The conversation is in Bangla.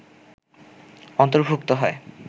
অন্তর্ভুক্ত হয়